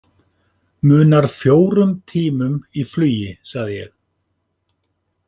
Munar fjórum tímum í flugi sagði ég.